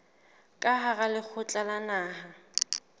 ka hara lekgotla la naha